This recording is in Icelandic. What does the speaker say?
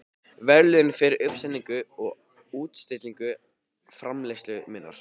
verðlaun fyrir uppsetningu og útstillingu framleiðslu minnar.